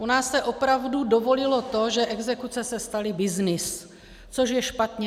U nás se opravdu dovolilo to, že exekuce se staly byznysem, což je špatně.